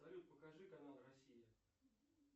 салют покажи канал россия